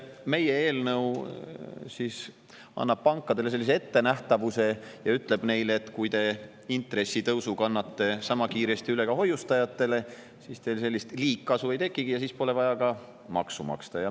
Meie eelnõu annab pankadele ettenähtavuse ja ütleb, et kui te kannate intressitõusu sama kiiresti üle ka hoiustajatele, siis teil liigkasu ei tekigi ja siis pole vaja maksu maksta.